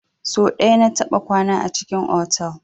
So ɗaya na taɓa kwana a cikin otal.